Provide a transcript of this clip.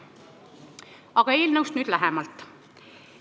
Aga nüüd eelnõust lähemalt.